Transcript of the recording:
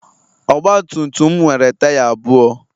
Ogbatumtum nwere taya abụọ